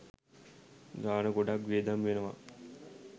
ගාන ගොඩාක් වියදම් වෙනවා.